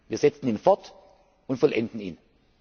Wir setzen ihn fort und vollenden ihn.